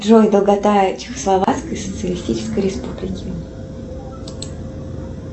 джой долгота чехословацкой социалистической республики